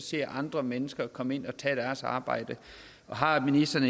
se andre mennesker komme ind og tage deres arbejde har ministeren